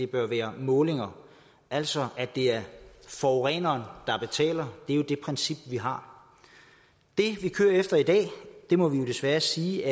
bør være målinger altså at det er forureneren der betaler det er jo det princip vi har det vi kører efter i dag må vi desværre sige